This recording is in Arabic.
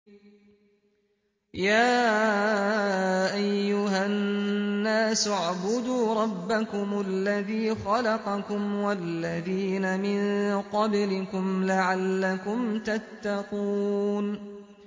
يَا أَيُّهَا النَّاسُ اعْبُدُوا رَبَّكُمُ الَّذِي خَلَقَكُمْ وَالَّذِينَ مِن قَبْلِكُمْ لَعَلَّكُمْ تَتَّقُونَ